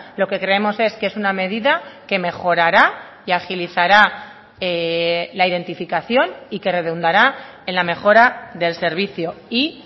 lo que creemos es que es una medida que mejorará y agilizará la identificación y que redundará en la mejora del servicio y